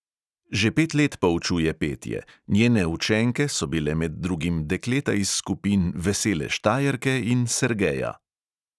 Že pet let poučuje petje, njene učenke so bile med drugim dekleta iz skupin vesele štajerke in sergeja.